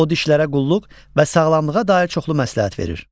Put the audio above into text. O dişlərə qulluq və sağlamlığa dair çoxlu məsləhət verir.